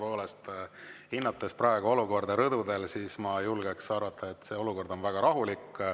Tõepoolest, hinnates praegu olukorda rõdudel, ma julgen arvata, et see olukord on väga rahulik.